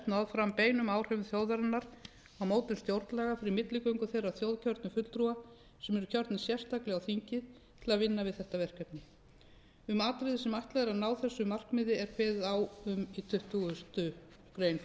náð fram beinum áhrifum þjóðarinnar á mótun stjórnlaga fyrir milligöngu þeirra þjóðkjörnu fulltrúa sem eru kjörnir sérstaklega á þingið til að vinna þetta verkefni um atriði sem ætlað er að ná þessu markmiði er kveðið í tuttugustu greinar